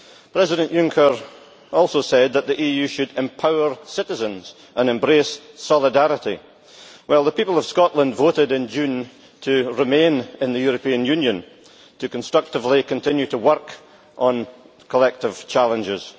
President Juncker also said that the EU should empower citizens and embrace solidarity. Well, the people of Scotland voted in June to remain in the European Union to constructively continue to work on collective challenges.